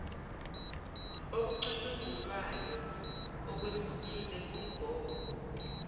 okucutshungulwayo okwehlukile kumgomo